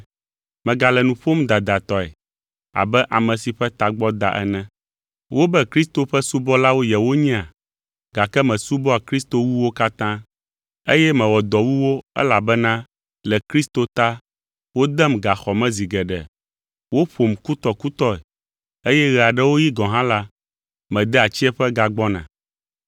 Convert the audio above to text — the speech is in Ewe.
(Megale nu ƒom dadatɔe abe ame si ƒe tagbɔ da ene.) Wobe Kristo ƒe subɔlawo yewonyea? Gake mesubɔa Kristo wu wo katã, eye mewɔ dɔ wu wo elabena le Kristo ta wodem gaxɔ me zi geɖe, woƒom kutɔkutɔe, eye ɣe aɖewo ɣi gɔ̃ hã la, medea tsiẽƒe gagbɔna.